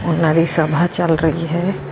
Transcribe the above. ਉਹਨਾਂ ਦੀ ਸਭਾ ਚੱਲ ਰਹੀ ਹੈ।